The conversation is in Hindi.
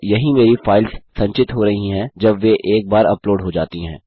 और यहीं मेरी फाइल्स संचित हो रही हैं जब वे एक बार अपलोड हो जाती हैं